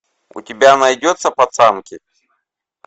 у тебя найдется пацанки